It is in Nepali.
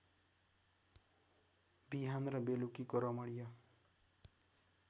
बिहान र बेलुकीको रमणीय